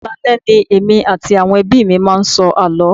Alaale ni èmi àti àwọn ẹbí mi máa ń sọ àló.